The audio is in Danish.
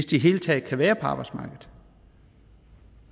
det hele taget kan være på arbejdsmarkedet